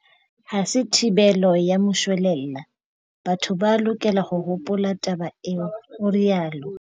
Ha se thibelo ya moshwelella, batho ba lokela ho hopola taba eo, o rialo.